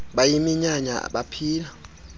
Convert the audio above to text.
bayiminyanya bap hila